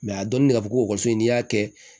a dɔnni de ka fɔ ko ekɔliso in n'i y'a kɛ